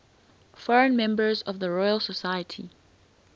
foreign members of the royal society